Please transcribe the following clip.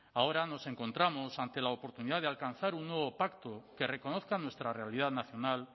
ahora nos encontramos ante la oportunidad de alcanzar un nuevo pacto que reconozca nuestra realidad nacional